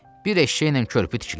Bir eşşəklə körpü tikilər?